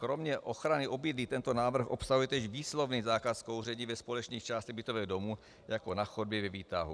Kromě ochrany obydlí tento návrh obsahuje též výslovný zákaz kouření ve společných částech bytového domu, jako na chodbě, ve výtahu.